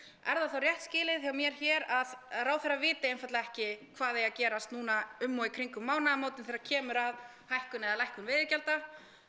er það þá rétt skilið hjá mér hér að ráðherra viti einfaldlega ekki hvað eigi að gerast núna um og í kringum mánaðamótin þegar kemur að hækkun eða lækkun veiðigjalda